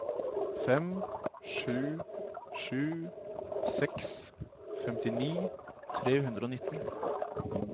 fem sju sju seks femtini tre hundre og nittien